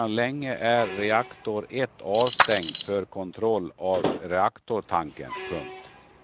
Sedan länge är reaktor ett avstängd för kontroll av reaktortanken. punkt